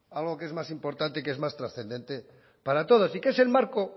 algo que es más importante y que es más trascendente para todos y que es el marco